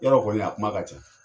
Yɔrɔ kɔni a kuma ka ca